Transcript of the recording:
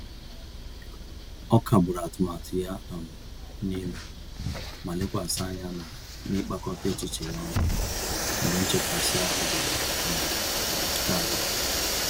Ọ kagburu atụmatụ ya um nile, ma lekwasị anya na n'ịkpakọta echiche ya ọnụ mgbe nchekasị-ahụ bịara um karịa.